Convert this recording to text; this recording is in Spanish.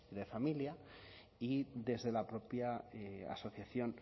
de familia y desde la propia asociación